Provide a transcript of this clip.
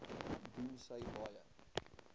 doen sy baie